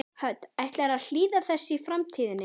Hödd: Ætlarðu að hlýða þessu í framtíðinni?